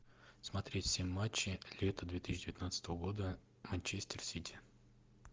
смотреть все матчи лета две тысячи девятнадцатого года манчестер сити